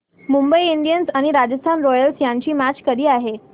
Mumbai Indians आणि Rajasthan Royals यांची match कधी आहे